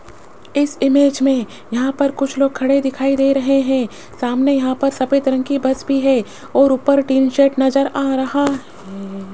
इस इमेज में यहां पर कुछ लोग खड़े दिखाई दे रहे हैं सामने यहां पर सफेद रंग की बस भी है और ऊपर टीन शेड नजर आ रहा है।